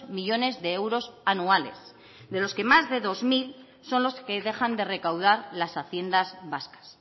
millónes de euros anuales de los que más de dos mil son los que dejan de recaudar las haciendas vascas